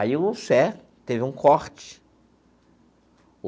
Aí o CER teve um corte.